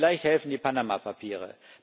Vielleicht helfen die Panama Papiere.